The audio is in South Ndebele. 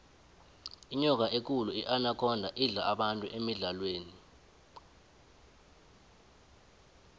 inyoka ekulu inakhonda idla abantu emidlalweni